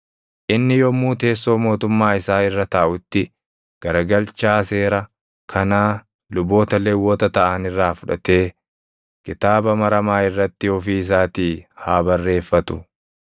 Inni yommuu teessoo mootummaa isaa irra taaʼutti garagalchaa seera kanaa luboota Lewwota taʼan irraa fudhatee kitaaba maramaa irratti ofii isaatii haa barreeffatu.